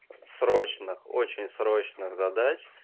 срочно очень срочно задач